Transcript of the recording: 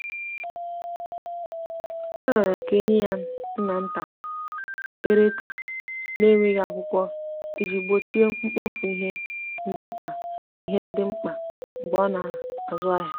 ọ riorọ ka enye ya nnata/ereta na nweghi akwụkwo iji gbochie mgbofu ihe ndi mkpa ihe ndi mkpa mgbe ọ na azụ ahia